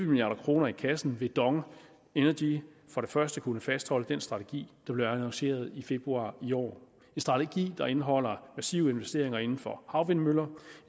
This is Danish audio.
milliard kroner i kassen vil dong energy kunne fastholde den strategi der blev annonceret i februar i år en strategi der indeholder massive investeringer inden for havvindmøller